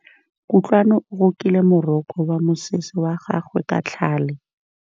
Kutlwanô o rokile morokô wa mosese wa gagwe ka tlhale.